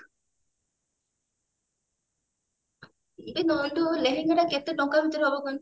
ଏ ନନ୍ଦୁ ଲେହେଙ୍ଗା ଟା କେତେ ଟଙ୍କା ଭିତରେ ହବ କହନି